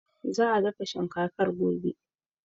Za a dafa shinkafar gobe.